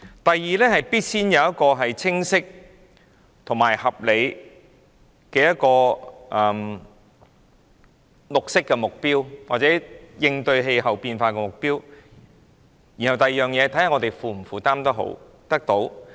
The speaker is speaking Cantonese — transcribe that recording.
第二，必須首先有一個清晰及合理的綠色目標或應對氣候變化的目標，然後看看能否負擔得到。